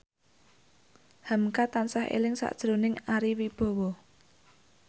hamka tansah eling sakjroning Ari Wibowo